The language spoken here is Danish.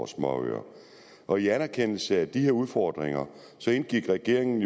småøer og i anerkendelse af de udfordringer indgik regeringen